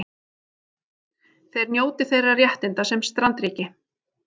Þeir njóti þeirra réttinda sem strandríki